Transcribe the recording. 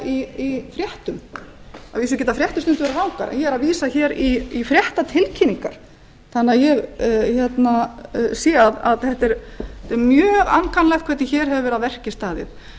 í fréttum að vísu geta fréttir stundum verið rangar en ég er að vísa hér í fréttatilkynningar þannig að ég sé að þetta er mjög ankannalegt hvernig hér hefur verið að verki staðið